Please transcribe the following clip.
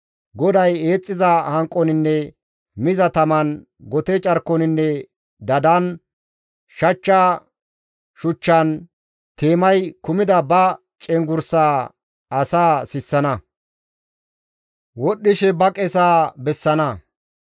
GODAY eexxiza hanqoninne miza taman, gote carkoninne dadan, shachcha shuchchan, teemay kumida ba cenggurssaa asaa sissana; wodhdhishe ba qesaa izi bessana.